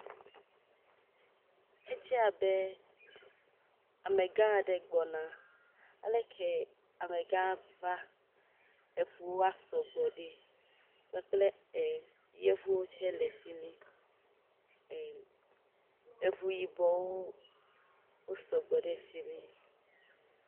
edze abe amegã aɖe gbɔna aleke amegã va eʋuwoa sɔgbɔ ɖi kpakple e yevuwo tsɛ le fimi e eʋu yibɔwo wo sɔgbɔ ɖe fimi